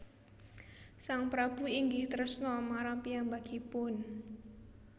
Sang prabu inggih tresna marang piyambakipun